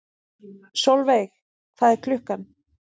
Solveig, hvað er klukkan?